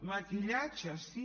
maquillatge sí